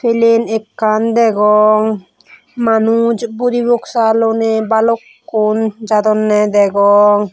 plen ekkan degong manuj budi boksa loi ni bhalukkun jadonne degong.